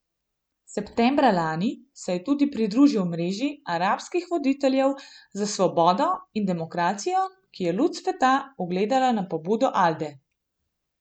Septembra lani, se je tudi pridružil mreži arabskih voditeljev za svobodo in demokracijo, ki je luč sveta ugledala na pobudo Alde.